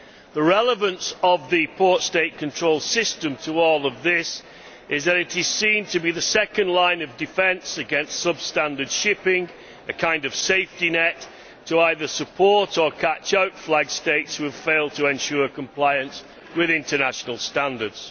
The relevance of the port State control system to all of this is that it is seen to be the second line of defence against substandard shipping a kind of safety net to support or to catch out flag States that have failed to ensure compliance with international standards.